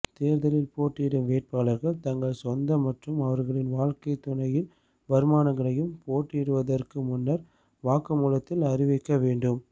தேர்தலில் போட்டியிடும் வேட்பாளர்கள் தங்கள் சொந்த மற்றும் அவர்களின் வாழ்க்கைத் துணையின் வருமானங்களையும் போட்டியிடுவதற்கு முன்னர் வாக்குமூலத்தில் அறிவிக்க வேண்டும்